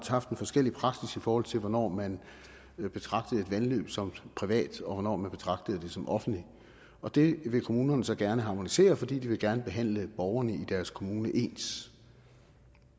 haft en forskellig praksis i forhold til hvornår man betragtede et vandløb som privat og hvornår man betragtede det som offentligt og det vil kommunerne så gerne harmonisere fordi de gerne vil behandle borgerne i deres kommune ens